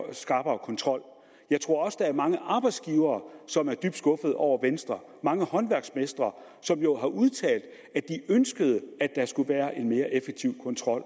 en skrappere kontrol jeg tror også der er mange arbejdsgivere som er dybt skuffede over venstre og mange håndværksmestre som jo har udtalt at de ønskede at der skulle være en mere effektiv kontrol